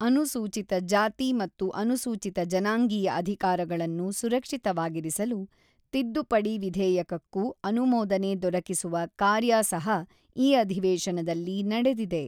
ಅನುಸೂಚಿತ ಜಾತಿ ಮತ್ತು ಅನುಸೂಚಿತ ಜನಾಂಗೀಯ ಅಧಿಕಾರಗಳನ್ನು ಸುರಕ್ಷಿತವಾಗಿರಿಸಲು ತಿದ್ದುಪಡಿ ವಿಧೇಯಕಕ್ಕೂ ಅನುಮೋದನೆ ದೊರಕಿಸುವ ಕಾರ್ಯ ಸಹ ಈ ಅಧಿವೇಶನದಲ್ಲಿ ನಡೆದಿದೆ.